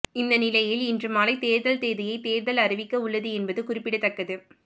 இந்த நிலையில் இன்று மாலை தேர்தல் தேதியை தேர்தல் அறிவிக்க உள்ளது என்பது குறிப்பிடத்தக்கது